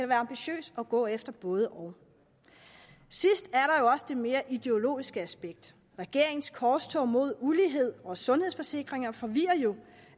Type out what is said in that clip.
være ambitiøs og gå efter både og sidst er også det mere ideologiske aspekt regeringens korstog mod ulighed og sundhedsforsikringer forvirrer jo